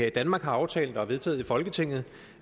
i danmark har aftalt og vedtaget i folketinget er